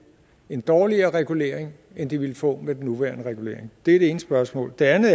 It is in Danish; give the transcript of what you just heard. en dårligere regulering end de ville få med den nuværende regulering det det ene spørgsmål det andet